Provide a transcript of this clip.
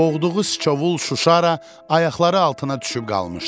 Boğduğu sıçovul Şuşara ayaqları altına düşüb qalmışdı.